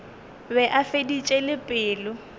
be a feditše le pelo